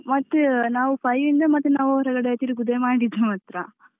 ಹ ಮತ್ತೆ ನಾವು five ಯಿಂದ ನಾವು ಹೊರಗಡೆ ತಿರುಗುದೆ ಮಾಡಿದ್ದು ಮಾತ್ರ.